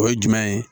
O ye jumɛn ye